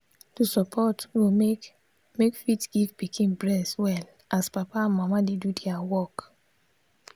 to support go make make fit give pikin breast well as papa and mama dey do their work.